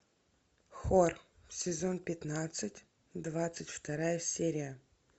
хор сезон пятнадцать двадцать вторая серия